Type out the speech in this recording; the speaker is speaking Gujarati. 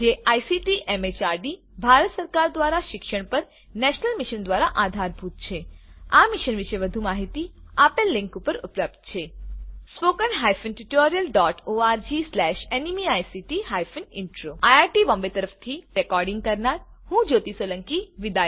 જે આઇસીટી એમએચઆરડી ભારત સરકાર દ્વારા શિક્ષણ પર નેશનલ મિશન દ્વારા આધારભૂત છે આ મિશન વિશે વધુ માહીતી આ લીંક ઉપર ઉપલબ્ધ છે httpspoken tutorialorgNMEICT Intro IIT Bombay તરફથી ભાષાંતર કરનાર હું કૃપાલી પરમાર વિદાય લઉં છું